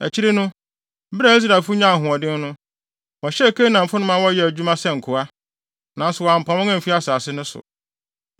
Akyiri no, bere a Israelfo nyaa ahoɔden no, wɔhyɛɛ Kanaanfo no ma wɔyɛɛ adwuma sɛ nkoa. Nanso wɔampam wɔn amfi asase no so.